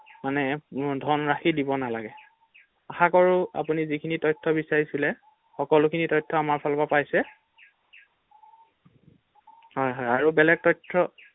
মানে ধনৰাশি দিব নালাগে৷আশাকৰো আপুনি যিখিনি তথ্য বিচাৰিছিলে সকলো খিনি তথ্য আমাৰ ফালৰ পৰা পাইছে৷হয় হয় আৰু বেলেগ তথ্য ৷